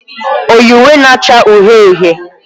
O yi uwe na-acha uhie uhie?